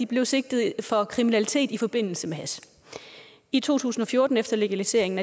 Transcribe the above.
blev sigtet for kriminalitet i forbindelse med hash i to tusind og fjorten efter legaliseringen